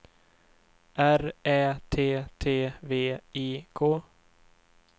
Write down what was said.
R Ä T T V I K